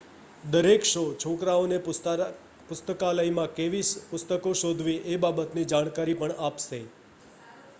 દરેક શો છોકરાઓ ને પુસ્તકાલયમાં કેવી પુસ્તકો શોધવી એ બાબત ની જાણકારી પણ આપશે